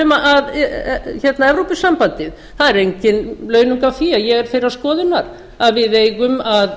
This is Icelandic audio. um evrópusambandið það er engin launug á því að ég er þeirrar skoðunar að við eigum að